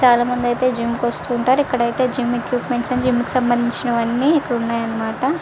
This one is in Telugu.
చాల మంది అయతె జిం కి వస్తు వుంటారు. జిం ఎకుపిమెన్త్స అని జిం కి సమందిచినై అన్ని ఇక్కడ వున్నాయ్ అనమాట.